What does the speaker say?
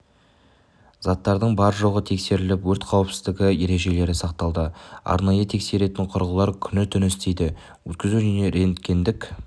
заттардың бар-жоғы тексеріліп өрт қауіпсіздігі ережелері сақталады арнайы тексеретін құрылғылар күні-түні істейді өткізу және рентгендік